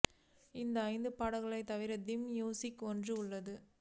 இந்த ஐந்து பாடல்கள் தவிர தீம் மியூசிக் ஒன்றும் உள்ளது